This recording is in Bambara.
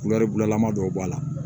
laman dɔw b'a la